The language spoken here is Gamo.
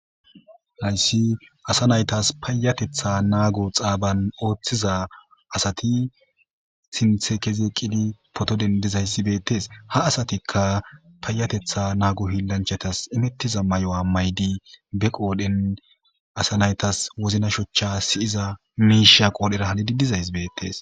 Hayssi asa naytas payatetha naago xaaban ooththiza asati sinthe kezeeqqidi poto dendizayssi beettes ha asatikka payatetha naagu hiilanchatas imettiza mayo maydi be qoodhen asa naytas wozna shochcha siyiza miisha qoodhera halidi dizayss bettees.